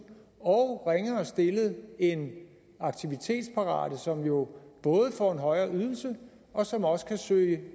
og ringere stillet end aktivitetsparate som jo både får en højere ydelse og som også kan søge